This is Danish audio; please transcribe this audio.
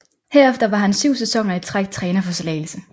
Herefter var han syv sæsoner i træk træner for Slagelse